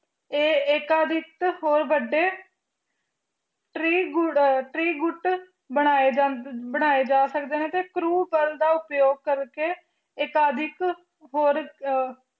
ਇਹ ਐਕਦਿਤ ਹੋ ਵੱਡੇ ਤ੍ਰਿ ਤ੍ਰਿਗੁਤ ਬਣਾਏ ਜਾਂਦੇ ਤੇ ਉਕੁਪਾਲ ਦਾ ਉਪਯੋਗ ਕਰ ਕ ਅਫ਼ਡੀਕ